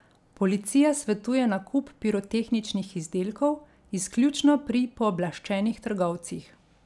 Policija svetuje nakup pirotehničnih izdelkov izključno pri pooblaščenih trgovcih.